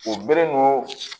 O bere ninnu